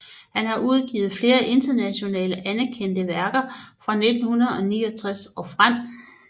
Han har udgivet flere internationalt anerkendte værker fra 1969 og frem